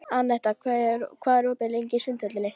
Anetta, hvað er opið lengi í Sundhöllinni?